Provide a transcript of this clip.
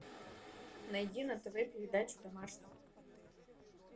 найди на тв передачу домашний